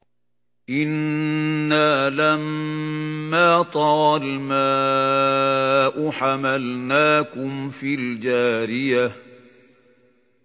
إِنَّا لَمَّا طَغَى الْمَاءُ حَمَلْنَاكُمْ فِي الْجَارِيَةِ